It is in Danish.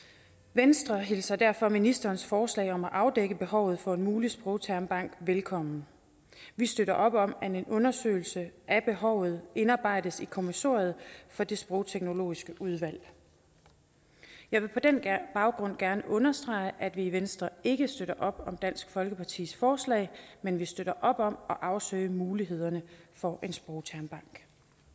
venstre hilser derfor ministerens forslag om at afdække behovet for en mulig sprogtermbank velkommen vi støtter op om at en undersøgelse af behovet indarbejdes i kommissoriet for det sprogteknologiske udvalg jeg vil på den baggrund gerne understrege at vi i venstre ikke støtter op om dansk folkepartis forslag men vi støtter op om at afsøge mulighederne for en sprogtermbank